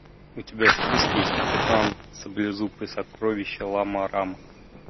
у тебя в списке есть капитан саблезуб и сокровища лама рама